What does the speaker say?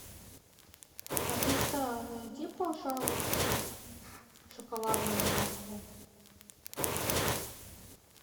алиса найди пожалуйста шоколадное молоко